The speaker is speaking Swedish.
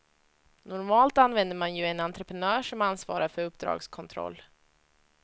Normalt använder man ju en entreprenör som ansvarar för uppdragskontroll.